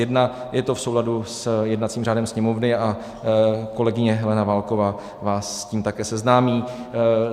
Je to v souladu s jednacím řádem Sněmovny a kolegyně Helena Válková vás s tím také seznámí.